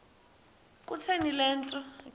kutheni le nto